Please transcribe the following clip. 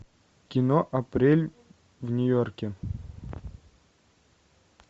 кино апрель в нью йорке